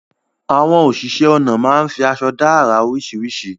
Àwọn oníṣẹ̀ onà máa fi àṣọ̀ dá ara oríṣíríṣì